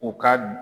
U ka